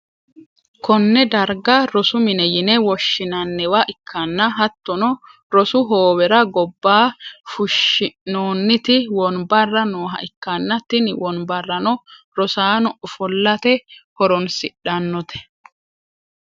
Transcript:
konne darga rosu mine yine woshshi'nanniwa ikkanna, hattono rosu hoowera gobba fushshi'noonniti wonbarra nooha ikkanna, tini wonbarano rosaano ofollate horonsi'dhannote.